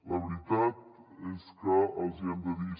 la veritat és que els hi hem de dir